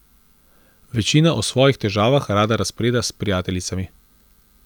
Večina o svojih težavah rada razpreda s prijateljicami.